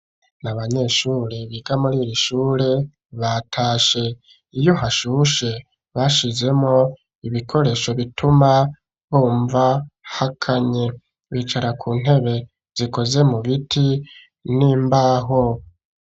Ni abanyeshure biga muri iri shure batashe. Iyo hashushe bashizemwo ibikoresho bituma bumva hakanye. Bicara ku ntebe zikoze mu biti n'imbaho.